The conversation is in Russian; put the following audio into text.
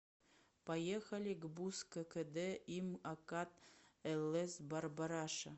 поехали гбуз ккд им акад лс барбараша